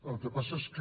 el que passa és que